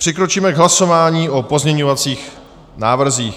Přikročíme k hlasování o pozměňovacích návrzích.